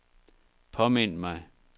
påmind mig